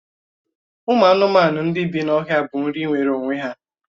Ụmụ anụmanụ ndị bí n'ọhịa bụ nri nwere onwe ya